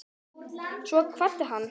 Svo kvaddi hann.